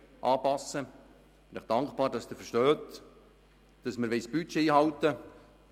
Ich bin Ihnen dankbar, dass Sie verstehen, dass wir das Budget einhalten wollen.